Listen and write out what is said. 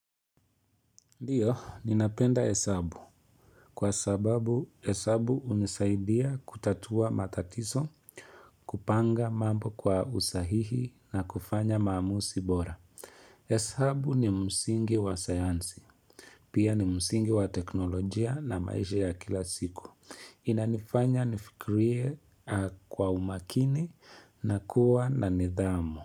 Ndio, ninapenda hesabu kwa sababu esabu hunisaidia kutatua matatiso, kupanga mambo kwa usahihi na kufanya maamusi bora. Hesabu ni msingi wa sayansi, pia ni msingi wa teknolojia na maisha ya kila siku. Inanifanya nifikrie kwa umakini na kuwa na nidhamu.